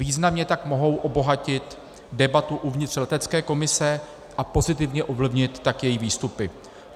Významně tak mohou obohatit debatu uvnitř letecké komise a pozitivně ovlivnit tak její výstupy.